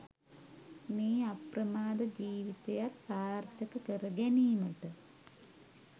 මේ අප්‍රමාද ජීවිතයක් සාර්ථක කර ගැනීමට